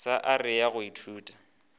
sa area ya go ithuta